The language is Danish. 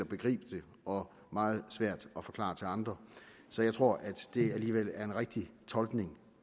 begribe det og meget svært at forklare til andre så jeg tror at det alligevel er en rigtig tolkning